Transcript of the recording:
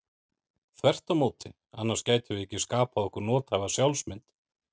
Þvert á móti, annars gætum við ekki skapað okkur nothæfa sjálfsmynd.